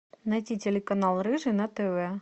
найти телеканал рыжий на тв